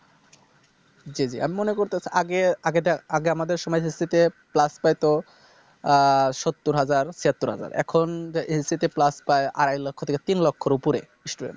জি জি আমি মনে করছি আগে আগেরটা আগে আমাদের সময় SSC তে Plus পেত আহ সত্তর হাজার ছিয়াত্তর হাজার এখন SSC তে Plus পায় আড়াই লক্ষ থেকে তিন লক্ষর ওপরে